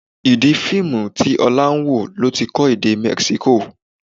Ìdí Fíìmù tí Ọlá ń wò ló ti kọ́ èdè Mexico